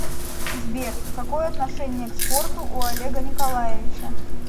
сбер какое отношение к спорту у олега николаевича